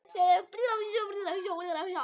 Það sér hver maður.